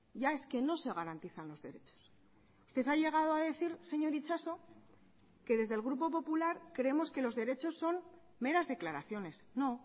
ya es que no se garantizan los derechos usted ha llegado a decir señor itxaso que desde el grupo popular creemos que los derechos son meras declaraciones no